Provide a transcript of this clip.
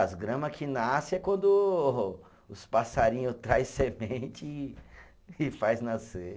As grama que nasce é quando os passarinho traz semente e, e faz nascer.